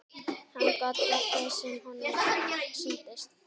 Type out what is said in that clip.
Hann gat gert það sem honum sýndist.